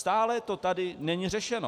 Stále to tady není řešeno.